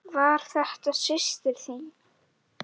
Var þetta systir þín?